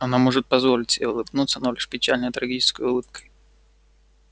она может позволить себе улыбнуться но лишь печальной трагической улыбкой